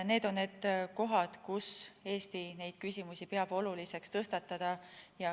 Need on need kohad, kus Eesti peab oluliseks neid küsimusi tõstatada.